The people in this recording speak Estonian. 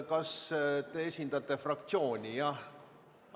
Kas te esindate fraktsiooni, jah?